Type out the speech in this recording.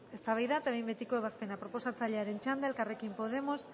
eztabaida eta behin betiko ebazpena proposatzailearen txanda elkarrekin podemos